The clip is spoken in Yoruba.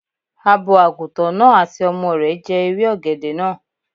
Abo Àgùntàn náà àti ọmọ rẹ̀ jẹ ewé ọ̀gẹ̀dẹ̀ náà